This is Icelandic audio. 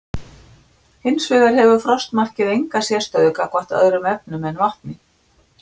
Hins vegar hefur frostmarkið enga sérstöðu gagnvart öðrum efnum en vatni.